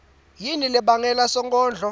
yini lebangele sonkondlo